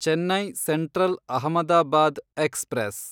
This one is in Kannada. Chennai central Ahmedabad express